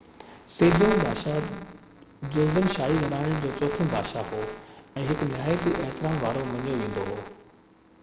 Sejong بادشاه Joseon شاهي گهراڻي جو چوٿون بادشاه هو ۽ هڪ نهيات احترام وارو مڃيو ويندو آهي